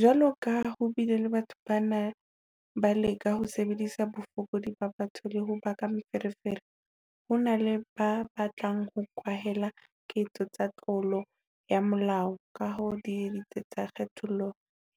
Jwalokaha ho bile le batho ba neng ba leka ho sebedisa bofokodi ba batho le ho baka meferefere, ho na le ba batlang ho kwahela ketso tsa tlolo ya molao ka ho di etsa tsa kgethollo